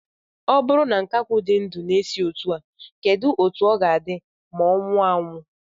O buru na nkakwu di ndu na-esi isi otu a, keduzi otu o ga-adi ma o nwuo anwu?